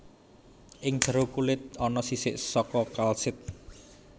Ing jero kulit ana sisik saka kalsit